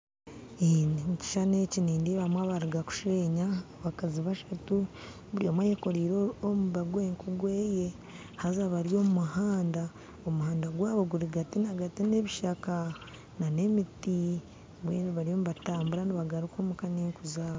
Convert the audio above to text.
Omu kishushani eki nindeebamu abaruga kusheenya abakazi bashatu buri omwe ayekorire omuba gwenku gweye haza bari omuhanda omuhanda gwabo guri gati na gati yebishaka na emiti mbwenu bariyo nibatambura nibagaruka omuka na' enku zabo.